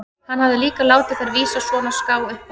Hann hafði líka látið þær vísa svona á ská upp á við.